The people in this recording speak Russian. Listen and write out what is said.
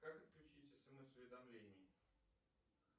как отключить смс уведомления